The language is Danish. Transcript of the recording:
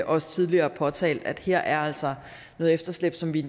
også tidligere påtalt at her er altså noget efterslæb som vi i